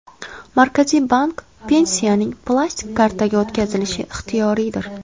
Markaziy bank: Pensiyaning plastik kartaga o‘tkazilishi ixtiyoriydir.